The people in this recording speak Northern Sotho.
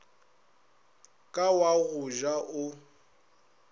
ka wa go ja o